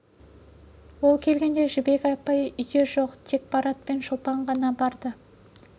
ол келгенде жібек апай үйде жоқ тек марат пен шолпан ғана барды